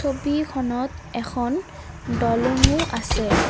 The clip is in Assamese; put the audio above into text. ছবিখনত এখন দলংও আছে।